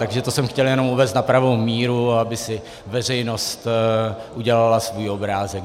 Takže to jsem chtěl jenom uvést na pravou míru, aby si veřejnost udělala svůj obrázek.